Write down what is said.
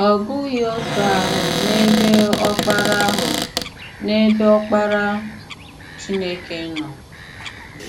Ọ̀ bụghị otú ahụ n’ebe Ọkparà ahụ n’ebe Ọkparà Chínèkè nọ.